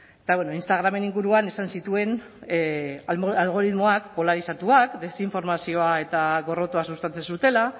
eta instagramen inguruan esan zituen algoritmoak polarizatuak desinformazioa eta gorrotoa sustatzen zutela